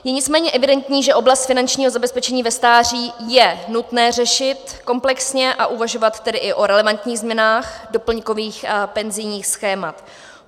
Je nicméně evidentní, že oblast finančního zabezpečení ve stáří je nutné řešit komplexně, a uvažovat tedy i o relevantních změnách doplňkových a penzijních schémat.